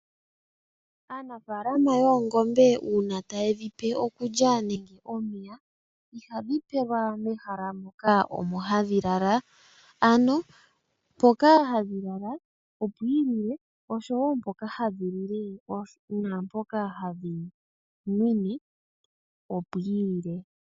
Aanafalama yoongombe uuna taye dhipe okulya nenge omeya iha dhi pewelwa mehalamoka omo hadhi lala ano mpoka hadhi lala opwiilile ishowo naampoka hadhi lile naampoka hadhi nwinwe opwiilile.